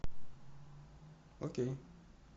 окей